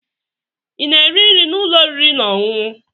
Ị na-eri nri n'ụlọ oriri na ọṅụṅụ?